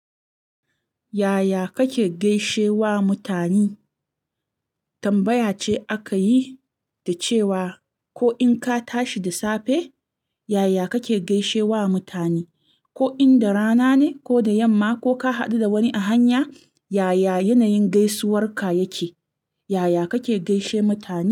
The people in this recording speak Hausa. Yaya kake gaishe wa mutane? Tambaya ce aka yi da cewa ko in ka tashi da safe, yaya kake gaishe wa mutane, ko in da rana ne ko da yamma ko ka haɗu da wani a hanya, yaya yanayin gaisuwar ka yake, yaya kake gaishe mutane?